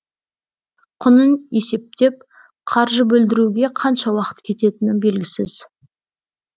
құнын есептеп қаржы бөлдіруге қанша уақыт кететіні белгісіз